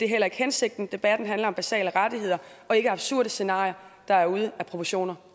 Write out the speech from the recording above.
heller ikke hensigten debatten handler om basale rettigheder og ikke absurde scenarier der er ude af proportioner